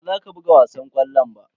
Baza ka buga wasan ƙwallon ba.